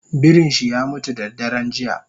Birinshi yamutu dadaren jiya